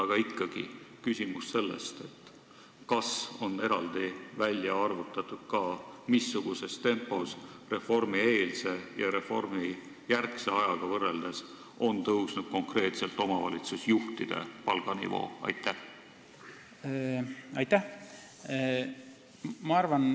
Aga ikkagi on küsimus selles, kas on ka eraldi välja arvutatud, missuguses tempos on tõusnud konkreetselt omavalitsusjuhtide palga nivoo, kui võrrelda reformieelset ja reformijärgset aega.